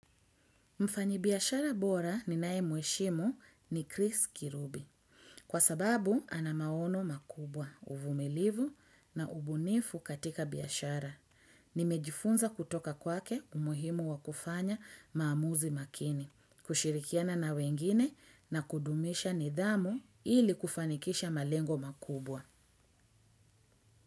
Mfanyi biyashara bora ni nae mweshimu ni Chris Kirubi kwa sababu anamaono makubwa uvumilivu na ubunifu katika biyashara. Nimejifunza kutoka kwake umuhimu wa kufanya maamuzi makini, kushirikiana na wengine na kudumisha nidhamu ili kufanikisha malengo makubwa.